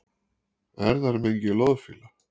Erfðamengi loðfíla